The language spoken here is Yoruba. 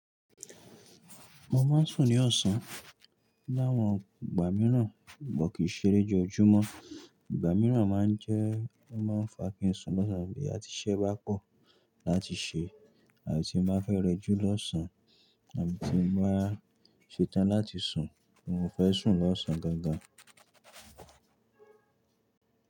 Mo máa ń sùn ní ọ̀sán. Láwọn ìgbà mìíràn sugbo kìí ṣe lójojúmọ́. Ìgbà mìíràn máa ń jẹ́, o máa ń fà kí n sùn lọ́sàn boya ti iṣẹ́ bá pọ̀ láti ṣe àbí tí n bá fẹ́ rẹ jù lọ́sàn àbí tí n bá ṣetán láti sùn. Mo fẹ́ sùn lọ́sàn gangan.